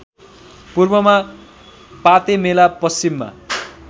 पूर्वमा पातेमेला पश्चिममा